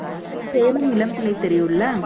சேலம் இளம்பிள்ளை தெரியும்ல